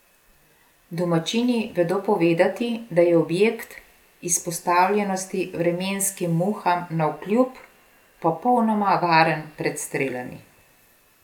Domačini vedo povedati, da je objekt, izpostavljenosti vremenskim muham navkljub, popolnoma varen pred strelami.